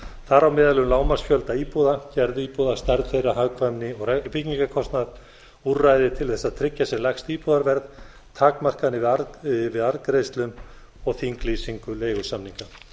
þar á meðal um lágmarksfjölda íbúða gerð íbúða stærð þeirra hagkvæmni og byggingarkostnað úrræði til þess að tryggja sem lægst íbúðarverð takmarkanir við arðgreiðslum og þinglýsingu leigusamninga